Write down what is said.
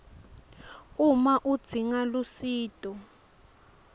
uma udzinga lusito